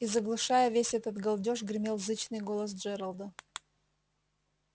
и заглушая весь этот галдёж гремел зычный голос джералда